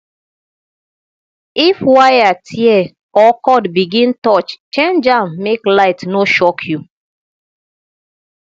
if wire tear or cord begin touch change am make light no shock you